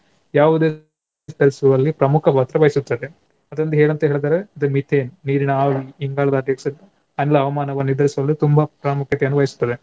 ಯಾವುದೇ ಪ್ರಮುಖ ಪಾತ್ರ ವಹಿಸುತ್ತದೆ. ಅದೊಂದು ಏನಂತ ಹೇಳಿದರೆ ಅದು Methane ನೀರಿನ ಇಂಗಾಲದ ಡೈಆಕ್ಸೈಡ್ ಎಲ್ಲಾ ಹವಾಮಾನವನ್ನು ಎದುರಿಸಲು ತುಂಬಾ ಪ್ರಾಮುಖ್ಯತೆಯನ್ನು ವಹಿಸುತ್ತದೆ.